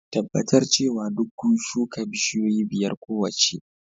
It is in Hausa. Tabbatar cewa duk ku shuka bishiyoyi biyar kowace